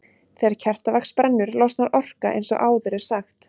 Þegar kertavax brennur losnar orka eins og áður er sagt.